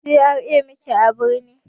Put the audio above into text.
A GRA muke a birni